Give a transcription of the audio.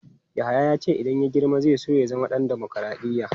Yahaya ya ce idan ya girma zai so ya zama ɗan dimokradiyya.